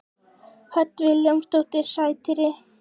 Hödd Vilhjálmsdóttir: Sætir?